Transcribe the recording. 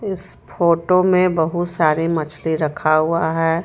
इस फोटो मे बहुत सारी मछली रखा हुआ हे.